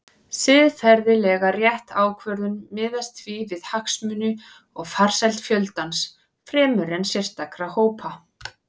Siðferðilega rétt ákvörðun miðast því við hagsmuni og farsæld fjöldans fremur en sérstakra hópa.